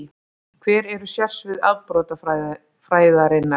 Hver eru sérsvið afbrotafræðinnar?